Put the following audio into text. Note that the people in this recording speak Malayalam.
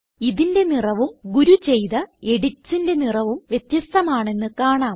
ഇതിന്റെ നിറവും ഗുരു ചെയ്ത editsന്റെ നിറവും വ്യത്യസ്ഥമാണെന്ന് കാണാം